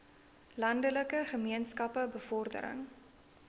landelike gemeenskappe bevordering